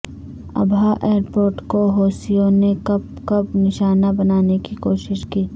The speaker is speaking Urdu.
ابہا ایئر پورٹ کو حوثیوں نے کب کب نشانہ بنانے کی کوشش کی